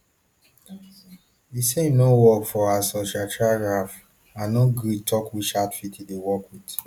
e say im no work for asociatia ralf and no gree tok which outfit e dey work wit